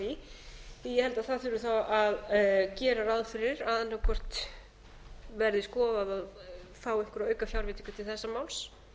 held að það þurfi þá að gera ráð fyrir að annaðhvort verði skoðaðar einhverjar aukafjárveitingar til þessa máls